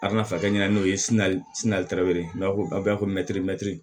A kana fa kɛ ɲɛna n'o ye sini na n'a ko a bɛ fɔ